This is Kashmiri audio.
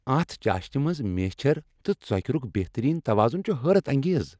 اتھ چاشِنہِ منٛز میچھر تہٕ ژوكِرُك بہترین توازن چھُ حیرت انگیز۔